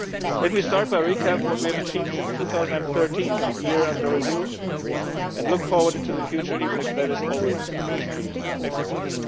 Let me start by recapping on what we have achieved since 2013 the year under review and look forward into the future, even if that is always a risky exercise.